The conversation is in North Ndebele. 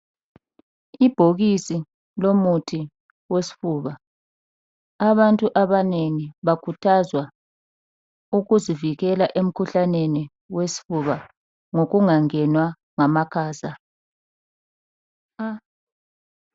Ibhokisi lomuthi wesifuba abantu abanengi bakhuthazwa ukuzivikela emkhuhlaneni wesifuba ngokungangenwa ngamakhaza.